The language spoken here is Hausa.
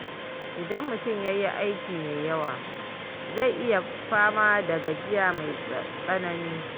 Idan mutum ya yi aiki mai yawa, zai iya fama da gajiya mai tsanani.